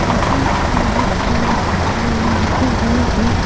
यहां बहुत से सामान रखे हुए हैं।